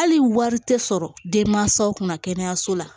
Hali wari tɛ sɔrɔ den mansaw kunna kɛnɛyaso la